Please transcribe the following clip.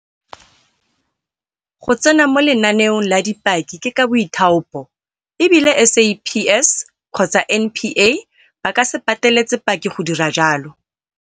Go tsena mo lenaneong la dipaki ke ka boithaopo, e bile SAPS kgotsa NPA ba ka se pateletse paki go dira jalo.